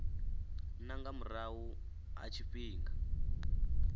na nga murahu ha tshifhinga